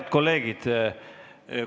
Head kolleegid!